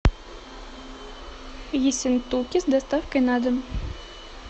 ессентуки с доставкой на дом